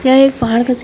यह एक पहाड़ का --